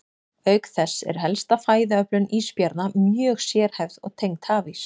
Auk þess er helsta fæðuöflun ísbjarna mjög sérhæfð og tengd hafís.